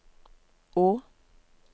å